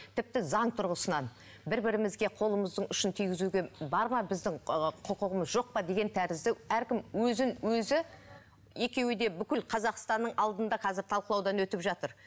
тіпті заң тұрғысынан бір бірімізге қолымыздың ұшын тигізуге бар ма біздің ыыы құқығымыз жоқ па деген тәрізді әркім өзін өзі екеуі де бүкіл қазақстанның алдында қазір талқылаудан өтіп жатыр